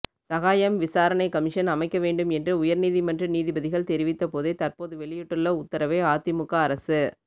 சகாயம் விசாரணைக் கமிஷன் அமைக்க வேண்டும் என்று உயர்நீதிமன்ற நீதிபதிகள் தெரிவித்த போதே தற்போது வெளியிட்டுள்ள உத்தரவை அதிமுக அரசு